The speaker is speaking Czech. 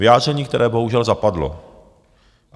Vyjádření, které bohužel zapadlo.